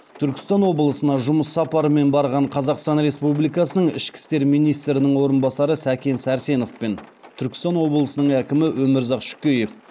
түркістан облысына жұмыс сапарымен барған қазақстан республикасының ішкі істер министрінің орынбасары сәкен сәрсенов пен түркістан облысының әкімі өмірзақ шөкеев